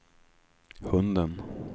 hunden